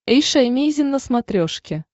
эйша эмейзин на смотрешке